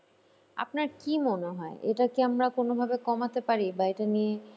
আপনার কী মনে হয় এটা কি আমরা কোনোভাবে কমাতে মনে পারি বা এটা নিয়ে